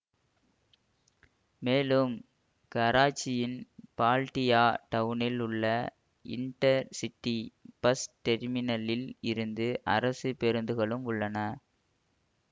மேலும் கராச்சியின் பால்டியா டவுனில் உள்ள இண்டர் சிட்டி பஸ் டெர்மினலில் இருந்து அரசு பேருந்துகளும் உள்ளன